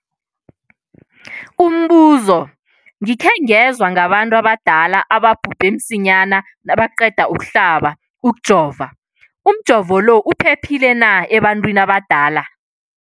Umbuzo, gikhe ngezwa ngabantu abadala ababhubhe msinyana nabaqeda ukuhlaba, ukujova. Umjovo lo uphephile na ebantwini abadala?